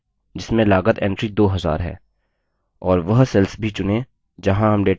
और वह cells भी चुनें जहाँ हम data copy करना चाहते हैं